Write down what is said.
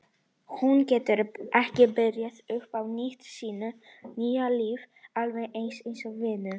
Hún getur ekki byrjað upp á nýtt í sínu nýja lífi í alveg eins vinnu.